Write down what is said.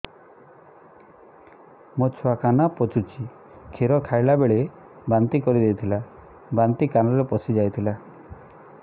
ମୋ ଛୁଆ କାନ ପଚୁଛି କ୍ଷୀର ଖାଇଲାବେଳେ ବାନ୍ତି କରି ଦେଇଥିଲା ବାନ୍ତି କାନରେ ପଶିଯାଇ ଥିଲା